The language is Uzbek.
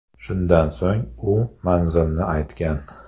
Shundan so‘ng u manzilni aytgan.